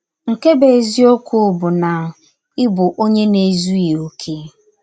Nke bụ́ eziọkwụ bụ na ị bụ ọnye na - ezụghị ọkè.